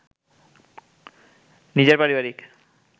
নিজের পারিবারিক